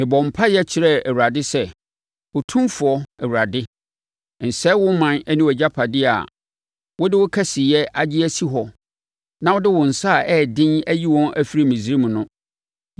Mebɔɔ mpaeɛ kyerɛɛ Awurade sɛ, “Otumfoɔ Awurade, nsɛe wo ɔman ne wʼagyapadeɛ a wode wo kɛseyɛ agye asi hɔ na wode wo nsa a ɛyɛ den ayi wɔn afiri Misraim no.